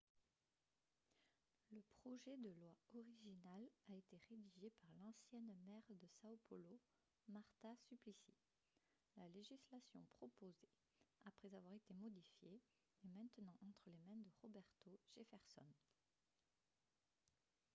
le projet de loi original a été rédigé par l'ancienne maire de são paulo marta suplicy. la législation proposée après avoir été modifiée est maintenant entre les mains de roberto jefferson